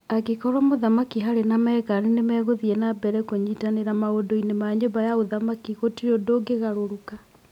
Angĩkorũo Mũthamaki Harry na Meghan nĩ mekuthiĩ na mbere kũnyitanĩra maũndũ-inĩ ma nyũmba ya ũthamaki, gũtirĩ ũndũ ũngĩgarũrũka.